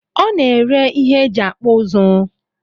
O na-ere ihe e ji akpụ uzu